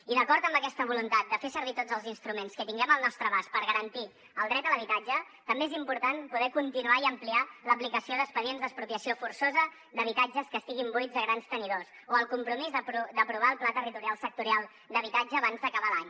i d’acord amb aquesta voluntat de fer servir tots els instruments que tinguem al nostre abast per garantir el dret a l’habitatge també és important poder continuar i ampliar l’aplicació d’expedients d’expropiació forçosa d’habitatges que estiguin buits de grans tenidors o el compromís d’aprovar el pla territorial sectorial d’habitatge abans d’acabar l’any